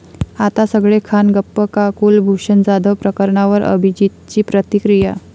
आता सगळे खान गप्प का? कुलभूषण जाधव प्रकरणावर अभिजीतची प्रतिक्रिया